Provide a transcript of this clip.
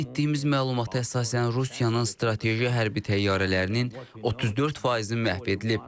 Əldə etdiyimiz məlumata əsasən Rusiyanın strateji hərbi təyyarələrinin 34 faizi məhv edilib.